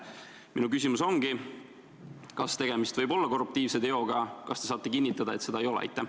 Minu küsimus ongi: kas tegemist võib olla korruptiivse teoga, kas te saate kinnitada, et seda ei ole?